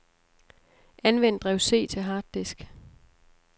Anvend drev C til harddisk.